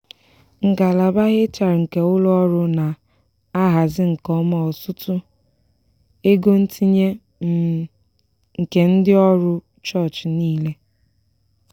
ngalaba hr nke ụlọ ọrụ na-ahazi nke ọma ọtụtụ ego ntinye um nke ndị ọrụ ụchọchị niile.